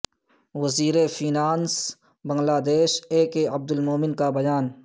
وزیر finance Bangladesh A K Abdul Momen کا بیان